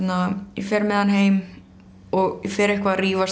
ég fer með hann heim og ég fer eitthvað að rífast